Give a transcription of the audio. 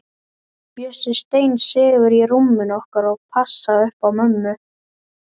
Bjössi steinsefur í rúminu okkar og passar upp á mömmu.